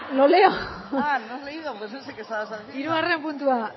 lo leo ah no has leído pues no sé que estabas haciendo hirugarren puntua